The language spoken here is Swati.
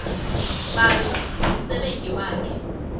babe ngumsebenti wakhe